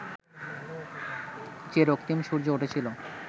যে রক্তিম সূর্য উঠেছিল